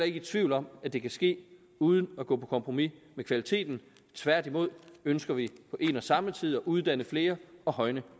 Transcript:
ikke i tvivl om at det kan ske uden at gå på kompromis med kvaliteten tværtimod ønsker vi på en og samme tid at uddanne flere og højne